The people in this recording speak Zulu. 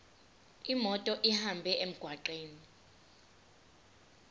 imoto ihambe emgwaqweni